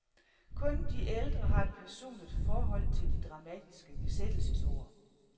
Kun de ældre har et personligt forhold til de dramatiske besættelsesår.